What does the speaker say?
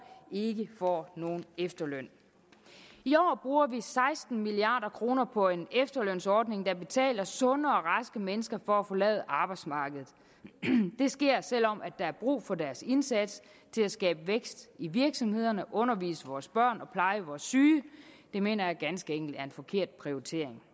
ikke får nogen efterløn i år bruger vi seksten milliard kroner på en efterlønsordning der betaler sunde og raske mennesker for at forlade arbejdsmarkedet det sker selv om der er brug for deres indsats til at skabe vækst i virksomhederne undervise vores børn og pleje vores syge det mener jeg ganske enkelt er en forkert prioritering